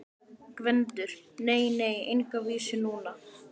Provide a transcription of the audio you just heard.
GVENDUR: Nei, nei, enga vísu núna.